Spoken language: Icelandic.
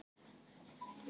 Hverjir eiga þessi lán?